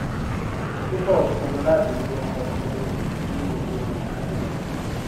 rufus pinnu láti lo ọkọ gbogbogbò fún gbogbo ìrìnàjò rẹ